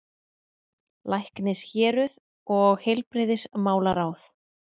LÆKNISHÉRUÐ OG HEILBRIGÐISMÁLARÁÐ